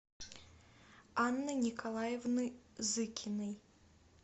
анны николаевны зыкиной